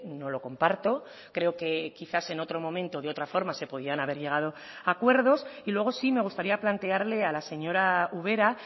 no lo comparto creo que quizás en otro momento de otra forma se podían haber llegado a acuerdos y luego sí me gustaría plantearle a la señora ubera